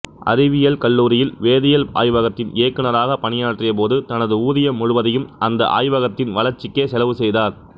அறிவியல் கல்லூரியில் வேதியியல் ஆய்வகத்தின் இயக்குநராகப் பணியாற்றிய போது தனது ஊதியம் முழுவதையும் அந்த ஆய்வகத்தின் வளர்ச்சிக்கே செலவு செய்தார்